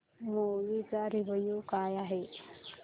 movie चा review काय आहे